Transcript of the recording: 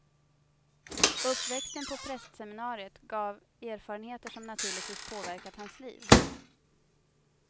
Uppväxten på prästseminariet gav erfarenheter som naturligtvis påverkat hans liv.